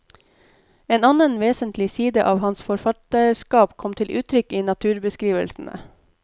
En annen vesentlig side av hans forfatterskap kom til uttrykk i naturbeskrivelsene.